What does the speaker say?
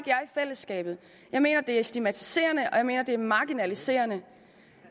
fællesskabet jeg mener det er stigmatiserende og jeg mener det er marginaliserende